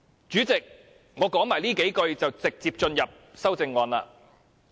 主席，我再多說數句後，便會直接討論修正案。